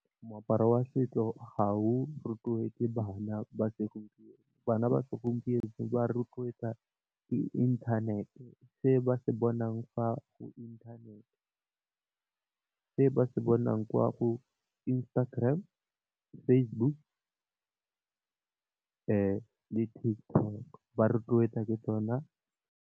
Moaparo wa setso ha o rotloetse bana ba segompieno, bana ba segompieno ba rotloetswa ke inthanete se ba se bonang fa go inthanete, se ba se bonang kwa go Instagram, Facebook le TikTok ba rotloetsa ke tsona.